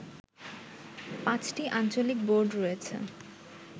পাঁচটি আঞ্চলিক বোর্ড রয়েছে